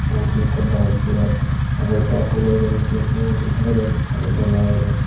uguredi tun ikko light joler uguretun phulo yeni sigon sigon guri pely don sade dol lagegoi.